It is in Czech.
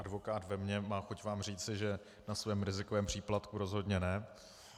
Advokát ve mně má chuť vám říci, že na svém rizikovém příplatku rozhodně ne.